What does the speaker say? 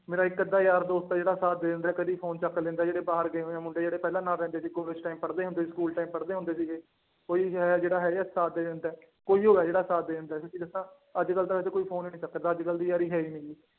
ਮੇਰਾ ਇੱਕ ਅੱਧਾ ਯਾਰ ਦੋਸਤ ਹੈ ਜਿਹੜਾ ਸਾਥ ਦੇ ਦਿੰਦਾ ਕਦੇ ਫ਼ੋਨ ਚੁੱਕ ਲੈਂਦਾ ਜਿਹੜੇ ਬਾਹਰ ਗਏ ਹੋਏ ਆ ਮੁੰਡੇ ਜਿਹੜੇ ਪਹਿਲਾਂ ਨਾਲ ਰਹਿੰਦੇ ਸੀ ਕਾਲਜ time ਪੜ੍ਹਦੇ ਹੁੰਦੇ ਸੀ ਸਕੂਲ time ਪੜ੍ਹਦੇ ਹੁੰਦੇ ਸੀਗੇ, ਉਹੀ ਜ ਜਿਹੜਾ ਹੈਗਾ ਸਾਥ ਦੇ ਦਿੰਦਾ ਹੈ, ਕੋਈਓ ਹੈ ਜਿਹੜਾ ਸਾਥ ਦੇ ਦਿੰਦਾ ਹੈ ਸੱਚੀ ਦੱਸਾਂ ਅੱਜ ਕੱਲ੍ਹ ਤਾਂ ਵੈਸੇ ਕੋਈ ਫ਼ੋਨ ਵੀ ਨੀ ਚੁੱਕਦਾ, ਅੱਜ ਕੱਲ੍ਹ ਦੀ ਯਾਰੀ ਹੈ ਨੀ ਗੀ